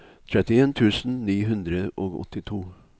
trettien tusen ni hundre og åttito